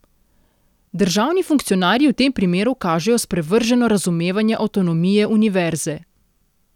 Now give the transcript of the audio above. Državni funkcionarji v tem primeru kažejo sprevrženo razumevanje avtonomije univerze.